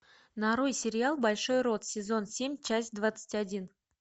нарой сериал большой рот сезон семь часть двадцать один